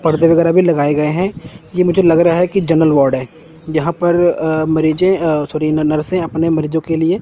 पड़दे वगैरा भी लगाए गए हैं ये मुझे लगा रहा हैं कि जनरल वार्ड हैं यहां पर अह मरीजें अह सॉरी न नरसे अपने मरीजों के लिए--